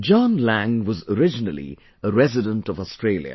John Lang was originally a resident of Australia